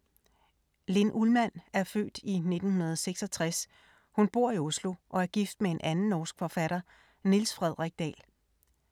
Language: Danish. Linn Ullmann er født i 1966, hun bor i Oslo og er gift med en anden norsk forfatter, Niels Fredrik Dahl.